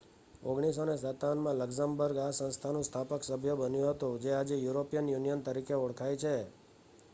1957માં Luxembourg આ સંસ્થાનું સ્થાપક સભ્ય બન્યું હતું જે આજે યુરોપિયન યુનિયન તરીકે ઓળખાય છે